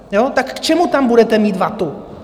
Tak k čemu tam budete mít vatu?